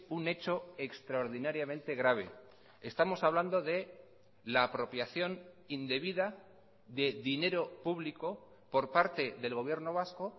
un hecho extraordinariamente grave estamos hablando de la apropiación indebida de dinero público por parte del gobierno vasco